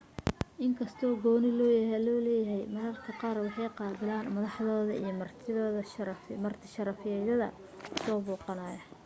inkastoo gooni loo leeyahay mar marka qaar waxa ay qaabilan madaxda iyo marti sharafyada soo booqanayo